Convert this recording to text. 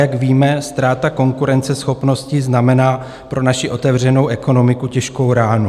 Jak víme, ztráta konkurenceschopnosti znamená pro naši otevřenou ekonomiku těžkou ránu.